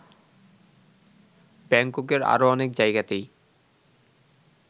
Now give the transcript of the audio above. ব্যাঙ্ককের আরো অনেক জায়গাতেই